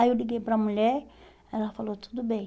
Aí eu liguei para mulher, ela falou, tudo bem.